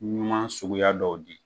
Ɲuman suguya dɔw di.